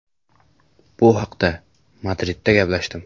Bu haqda Madridda gaplashdim.